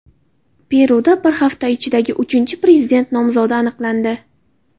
Peruda bir hafta ichidagi uchinchi prezident nomzodi aniqlandi.